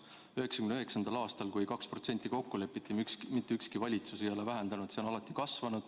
1999. aastast alates, kui 2% kokku lepiti, ei ole mitte ükski valitsus seda vähendanud, see on alati kasvanud.